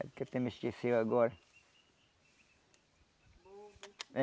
Até me esqueceu agora.